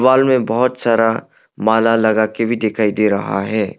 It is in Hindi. हॉल में बहोत सारा माला लगा के भी दिखाई दे रहा है।